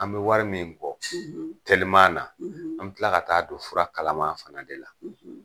An bɛ wari min kɔ teliman na an be tila ka taa'a don fura kalaman fana de la.